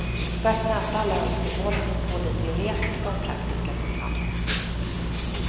För att möta alla önskemål finns både teoretiska och praktiska program.